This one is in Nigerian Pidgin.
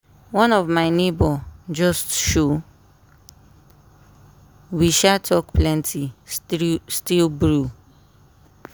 one of my neighbour just show we sha talk plenty str still brew.